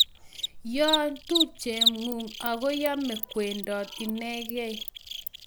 Yoo tupchenyu ako yamei kwendot inegei